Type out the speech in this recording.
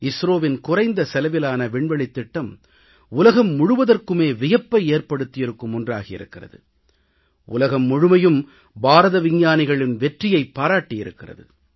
இஸ்ரோவின் குறைந்த செலவிலான விண்வெளித் திட்டம் உலகம் முழுவதற்குமே வியப்பை ஏற்படுத்தியிருக்கும் ஒன்றாகியிருக்கிறது உலகம் முழுமையும் பாரத விஞ்ஞானிகளின் வெற்றியைப் பாராட்டியிருக்கிறது